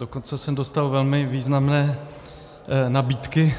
Dokonce jsem dostal velmi významné nabídky